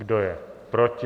Kdo je proti?